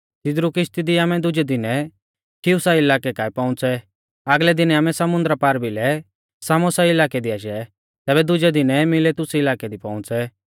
तिदरु किश्ती दी आमै दुजै दिनै खियुसा इलाकै काऐ पौउंच़ै आगलै दिनै आमै समुन्दरा पारभिलै सामोसा इलाकै दी आशै तैबै दुजै दिनै मिलेतुस इलाकै दी पौउंच़ै